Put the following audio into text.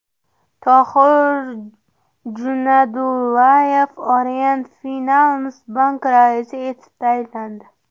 Tohir Junaydullayev Orient Finans Bank raisi etib tayinlandi.